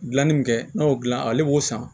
Gilanni min kɛ n'a y'o dilan ale b'o san